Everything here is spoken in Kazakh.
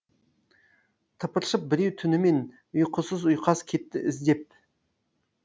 тыпыршып біреу түнімен ұйқысыз ұйқас кетті іздеп